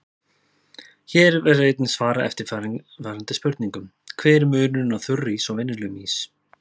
Hér verður einnig svarað eftirfarandi spurningum: Hver er munurinn á þurrís og venjulegum ís?